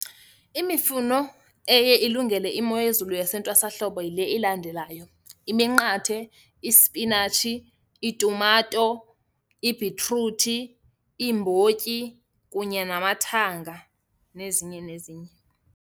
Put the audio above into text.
Imifuno eye ilungele imo yezulu yasentwasahlobo yile ilandelayo, iminqathe, ispinatshi, iitumato, ibhitruthi, iimbotyi kunye namathanga, nezinye nezinye.